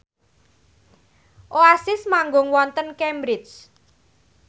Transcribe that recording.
Oasis manggung wonten Cambridge